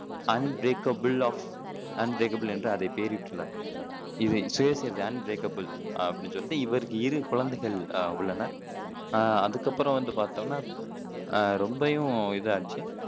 unbreakable of unbreakable என்று அதைப் பெயரிட்டுள்ளார் அன்பிரேக்கபிள் அப்படின்னு சொல்லிட்டு இவருக்கு இரு குழந்தைகள் அஹ் உள்ளனர் அஹ் அதுக்கு அப்பறம் வந்து பாத்தோம்னா அஹ் ரொம்பயும் இதாச்சு